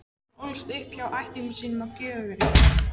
Hún ólst upp hjá ættingjum sínum á Gjögri.